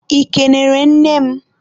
ị kenere nne m?